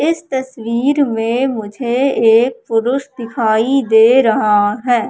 इस तस्वीर में मुझे एक पुरुष दिखाई दे रहा है।